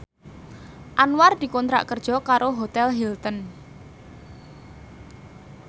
Anwar dikontrak kerja karo Hotel Hilton